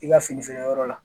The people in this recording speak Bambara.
I ka fini feere yɔrɔ la